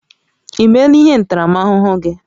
I meela ihe ntaramahụhụ gị?